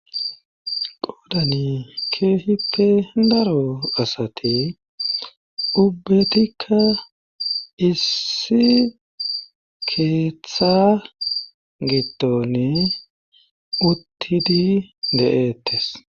Qodani keehippe daro asati ubbetikka issi keeththa gittonne uttidi de7eettes